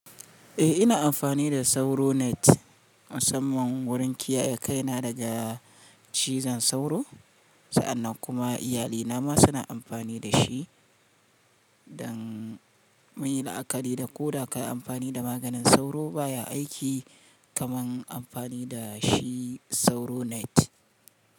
Eh ina amfani da Sauro Net musamman wurin kiyaye kaina daga cizon sauro, sa'annan kuma iyalina ma suna amfani da shi. Don muyi la'akari da ko da ka yi amfani da maganin sauro baya aiki kamar amfani da shi Sauro Net.